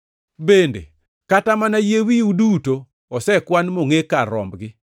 Bende, kata mana yie wiu duto osekwan mongʼe kar rombgi.